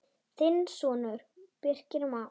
Þinn sonur, Birgir Már.